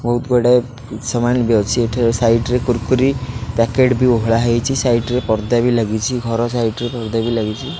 ବହୁତ୍ ବଡ଼ ସାମାନ ବି ଅଛି। ଏଠାରେ ସାଇଡ ରେ କୁର୍କୁରୀ ପ୍ୟାକେଟ ବି ଓହୋଳା ହୋଇଛି। ସାଇଟ୍ ରେ ପର୍ଦ୍ଦା ବି ଲାଗିଛି। ଘର ସାଇଡରେ ପର୍ଦ୍ଦା ବି ଲାଗିଛି।